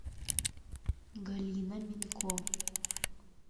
галина минко